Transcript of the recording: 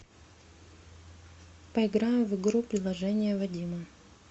поиграем в игру приложение вадима